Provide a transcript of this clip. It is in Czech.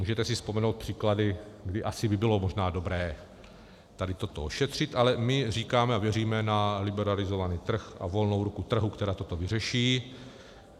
Můžete si vzpomenout příklady, kdy asi by bylo možná dobré tady toto ošetřit, ale my říkáme a věříme na liberalizovaný trh a volnou ruku trhu, která toto vyřeší.